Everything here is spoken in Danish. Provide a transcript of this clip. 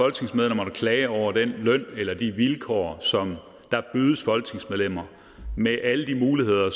altså jeg er over den løn eller de vilkår som der bydes folketingsmedlemmer med alle de muligheder